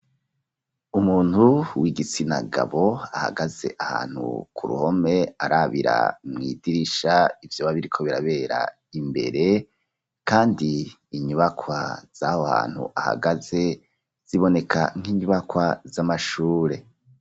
Umuntu w'igitsina gabo ahagaze ahantu ku ruhome, arabira mwidirisha ivyoba biriko birabera imbere, kandi inyubakwa z'aho hantu ahagaze, ziboneka nk'inyubakwa z'amashure.